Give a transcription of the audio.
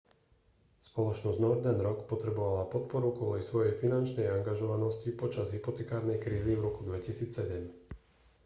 spoločnosť northern rock potrebovala podporu kvôli svojej finančnej angažovanosti počas hypotekárnej krízy v roku 2007